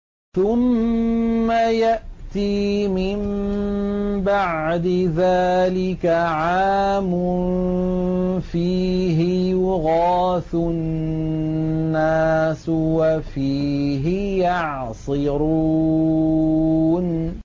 ثُمَّ يَأْتِي مِن بَعْدِ ذَٰلِكَ عَامٌ فِيهِ يُغَاثُ النَّاسُ وَفِيهِ يَعْصِرُونَ